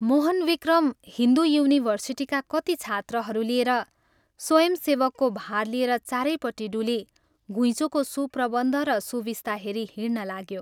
मोहनविक्रम हिन्दू युनिभर्सिटीका कति छात्रहरू लिएर स्वयंसेवकको भार लिएर चारैपट्टि डुली घुइँचोको सुप्रबन्ध र सुविस्ता हेरी हिंड्न लाग्यो।